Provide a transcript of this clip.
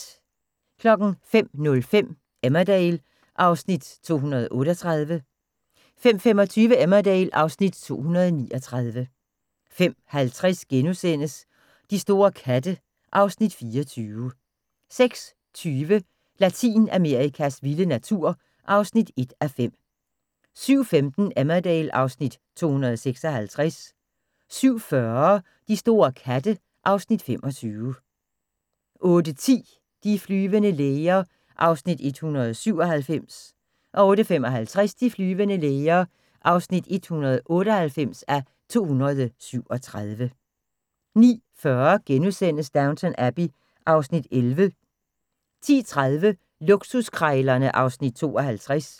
05:05: Emmerdale (Afs. 238) 05:25: Emmerdale (Afs. 239) 05:50: De store katte (Afs. 24)* 06:20: Latinamerikas vilde natur (1:5) 07:15: Emmerdale (Afs. 256) 07:40: De store katte (Afs. 25) 08:10: De flyvende læger (197:237) 08:55: De flyvende læger (198:237) 09:40: Downton Abbey (Afs. 11)* 10:30: Luksuskrejlerne (Afs. 52)